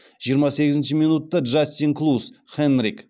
жиырма сегізінші минутта джастин клус хенрик